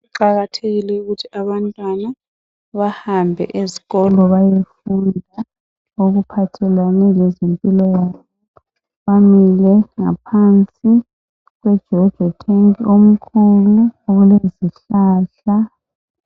Kuqakathekile ukuthi abantwana bahambe ezikolo bayefunda okuphathelane lezempilakahle. Bamile ngaphansi kwejojo tank omkhulu olezihlahla.